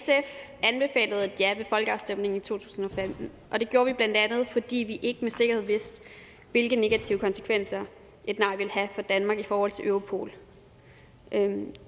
ja ved folkeafstemningen i to tusind og femten og det gjorde vi blandt andet fordi vi ikke med sikkerhed vidste hvilke negative konsekvenser et nej ville have for danmark i forhold til europol